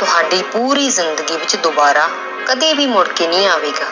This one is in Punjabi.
ਤੁਹਾਡੇ ਪੂਰੀ ਜ਼ਿੰਦਗੀ ਵਿੱਚ ਦੁਬਾਰਾ ਕਦੇ ਵੀ ਮੁੜਕੇ ਨਹੀਂ ਆਵੇਗਾ।